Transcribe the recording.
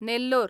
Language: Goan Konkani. नेल्लोर